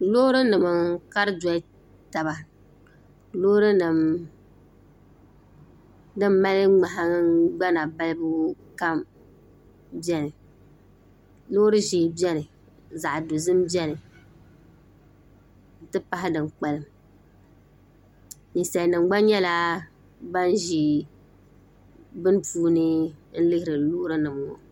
loori nim n kari doli taba loori nim din mali nahangbana balibu kam biɛni loori ʒiɛ biɛni zaɣ dozim biɛni n ti pahi din kpalim ninsal nim gba nyɛla ban ʒi bini puuni n lihiri loori nim ŋo